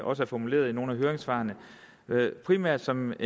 også er formuleret i nogle af høringssvarene primært som